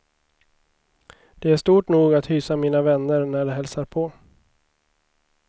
Det är stort nog att hysa mina vänner när de hälsar på.